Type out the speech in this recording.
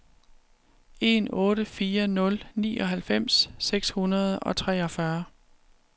en otte fire nul nioghalvfems seks hundrede og treogfyrre